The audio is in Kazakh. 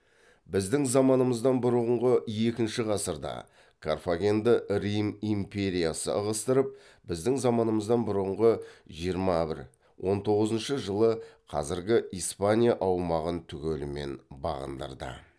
біздің заманымыздан бұрынғы екінші ғасырда карфагенді рим империясы ығыстырып біздің заманымыздан бұрынғы жиырма бір он тоғызыншы жылы қазіргі испания аумағын түгелімен бағындырды